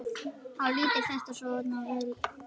Þá lítur þetta svona út